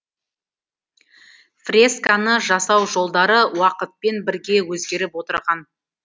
фресканы жасау жолдары уақытпен бірге өзгеріп отырған